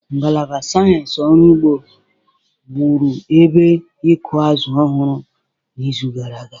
Ngalaba sayensị ọrụ ugbo wụrụ ebe ịkụ azụ̀ ọhụrụ n'izu gara aga.